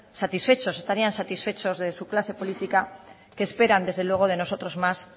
satisfechos estarían satisfechos de su clase política que esperan desde luego de nosotros más